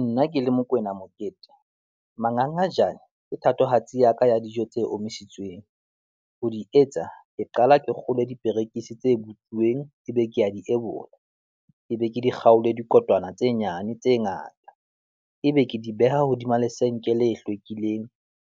Nna ke le Mokoena Mokete, mangangajane ke thatohatsi ya ka ya dijo tse omisitsweng. Ho di etsa ke qala ke kgolwe diperekisi tse botsuweng ebe ke a di ebola, ebe ke di kgaole dikotwana tse nyane tse ngata ebe ke di beha hodima lesenke le hlwekileng,